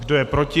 Kdo je proti?